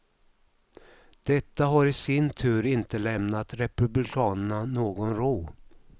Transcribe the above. Detta har i sin tur inte lämnat republikanerna någon ro.